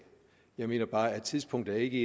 jeg mener bare at tidspunktet ikke